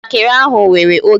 Njakịrị ahụ were oge m